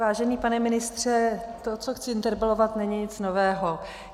Vážený pane ministře, to, co chci interpelovat, není nic nového.